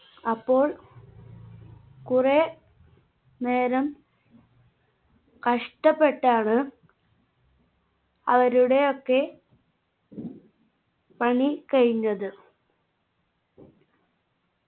അപ്പോൾ കുറെ നേരം കഷ്ടപ്പെട്ടാണ് അവരുടെ ഒക്കെ പണി കഴിഞ്ഞത്